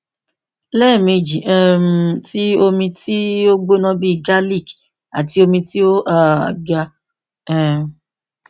lẹmeji um ti omi ti o gbona bii garlic ati omi ti o um ga um